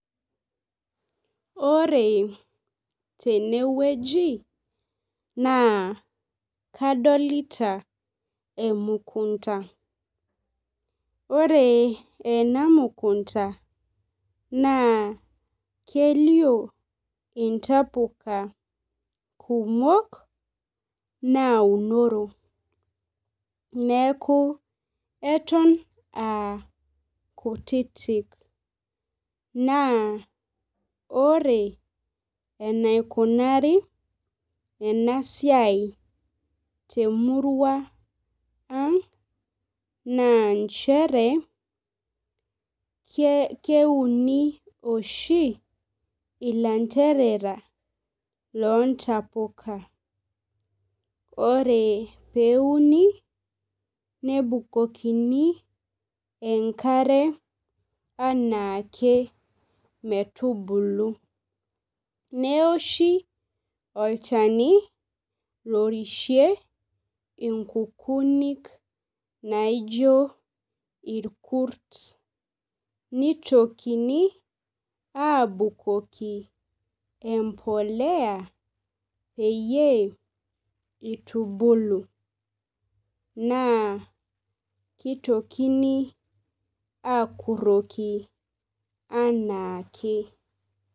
Ore tenewueji na kadolta emukunda ore enamukunda na kelio intapuka kumok naunoro neaku eton aa kutitik naa ore enaikunari enasiai temuruaang na nchere keuni oshi ilanderera lontapuka ore peuni nebukokini emkare enaake metubulu neoshi olchani lorishie nkukunik naijo irkurt mitokini abukoki embolea peyie itubilu na kitokini akuroki anaake